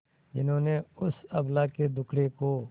जिन्होंने उस अबला के दुखड़े को